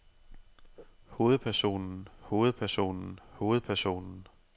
hovedpersonen hovedpersonen hovedpersonen